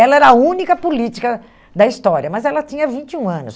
Ela era a única política da história, mas ela tinha vinte e um anos.